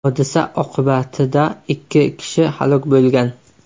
Hodisa oqibatida ikki kishi halok bo‘lgan.